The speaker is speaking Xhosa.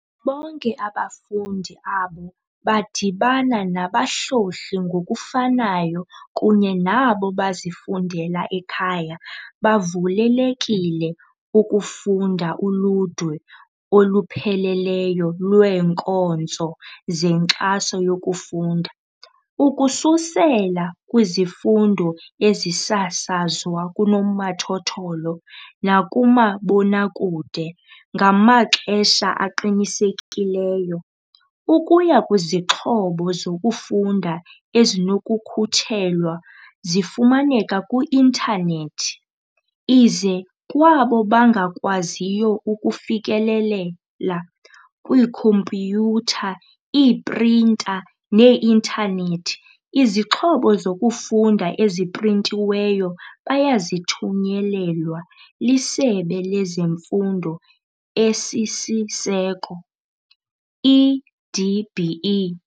Bonke abafundi abo badibana nabahlohli ngokufanayo kunye nabo bazifundela ekhaya bavulelekile ukufumana uludwe olupheleleyo lweenkonzo zenkxaso yokufunda, ukususela kwizifundo ezisasazwa kunomathotholo nakumabonakude ngamaxesha aqinisekileyo, ukuya kwizixhobo zokufunda ezinokukhutshelwa zifumaneka ku-intanethi, ize, kwabo bangakwaziyo ufikelelela kwiikhompyutha, iiprinta nee-intanethi - izixhobo zokufunda eziprintiweyo bayazithunyelelwa liSebe lezeMfundo esiSiseko, i-DBE.